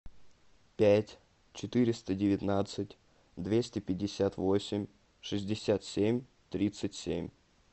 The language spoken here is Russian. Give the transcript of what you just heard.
пять четыреста девятнадцать двести пятьдесят восемь шестьдесят семь тридцать семь